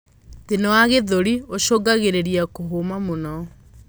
Thina wa gĩthũri ucungagirirĩa kuhuma mũno